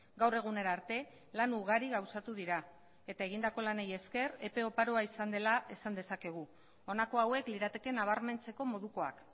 gaur egunera arte lan ugari gauzatu dira eta egindako lanei esker epe oparoa izan dela esan dezakegu honako hauek lirateke nabarmentzeko modukoak